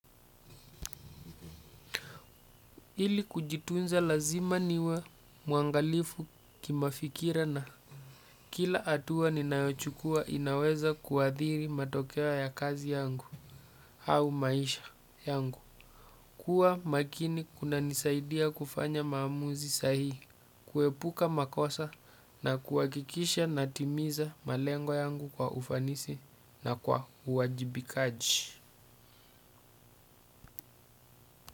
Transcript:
Ili kujitunza lazima niwe muangalifu kimafikira na kila atua ninayochukua inaweza kuadhiri matokeo ya kazi yangu au maisha yangu. Kua makini kuna nisaidia kufanya maamuzi sahihi kuepuka makosa na kuhakikisha natimiza malengo yangu kwa ufanisi na kwa uwajibikaji.